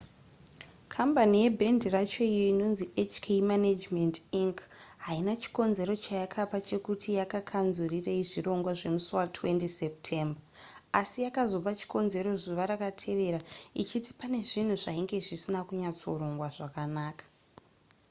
kambani yebhendi racho iyo inonzi hk management inc haina chikonzero chayakapa chekuti yakakanzurirei zvirongwa zvemusi wa20 september asi yakazopa chikonzero zuva rakatevera ichiti pane zvinhu zvainge zvisina kunyatsorongwa zvakanaka